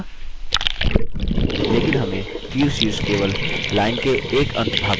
लेकिन हमें तीरशीर्ष केवल line के एक अंत भाग पर ही चाहिए